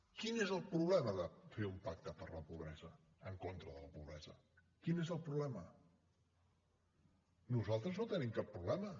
quin és el problema de fer un pacte per la pobresa en contra de la pobresa quin és el problema nosaltres no hi tenim cap problema